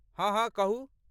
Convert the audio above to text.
हँ हँ, कहू।